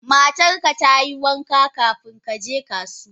Matarka ta yi wanka kafin ka je kasuwa?